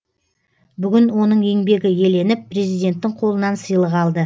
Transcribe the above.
бүгін оның еңбегі еленіп президенттің қолынан сыйлық алды